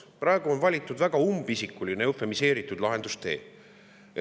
Praegu on valitud väga umbisikuline, eufemiseeritud lahendustee.